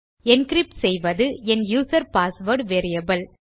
encrypt செய்வது என் user password variable